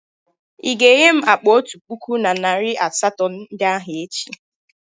Ị ga-enye m akpa otu puku na narị asatọ ndị ahụ echi?